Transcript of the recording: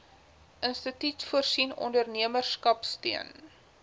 instituut voorsien ondernemerskapsteun